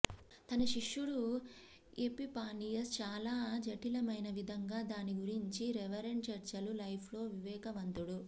తన శిష్యుడు ఎపిఫానియస్ చాలా జటిలమైన విధంగా దాని గురించి రెవరెండ్ చర్చలు లైఫ్ లో వివేకవంతుడు